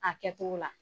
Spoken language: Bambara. A kɛtogo la